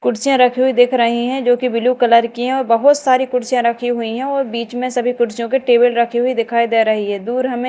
कुर्सियाँ रखी हुईं दिख रही हैं जो की ब्लू कलर की हैं और बहोत सारी कुर्सियाँ रखी हुई हैं और बीच में सभी पुरुषों के टेबल रखी हुई दिखाई दे रही है दूर हमें --